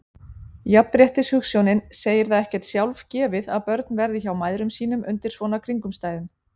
Jafnréttishugsjónin segir það ekkert sjálfgefið að börn verði hjá mæðrum sínum undir svona kringumstæðum.